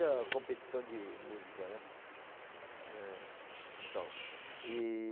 competição de música, né? É, então, E...